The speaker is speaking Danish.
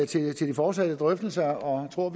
til de fortsatte drøftelser og tror